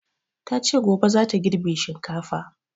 Ta ce gobe za ta girbe shinkafa